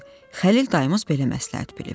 Xəlil dayımız belə məsləhət bilib.